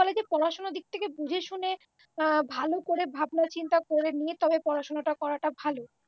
হয়েছে পড়াশুনার দিক থেকে বুঝেশুনে ভালো করে ভাবনাচিন্তা করে নিয়ে তবে পড়াশুনাটা করাটা ভালো